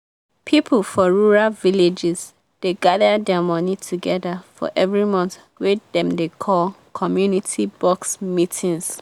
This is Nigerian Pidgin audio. people for rural villages dey gather their money together for every month wey dem dey call "community box" meetings.